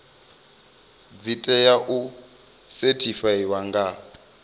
dzi tea u sethifaiwa nga